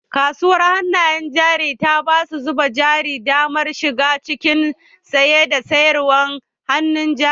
Kasuwar hannayen jari ta ba masu zuba jari damar shiga cikin saye da sayarwa hannun jari